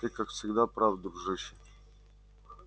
ты как всегда прав дружище